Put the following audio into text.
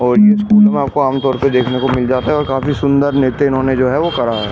और आपको आम तौर पर देखने को मिल जाता है और काफी सुंदर नेते इन्होंने जो है वो करा है ।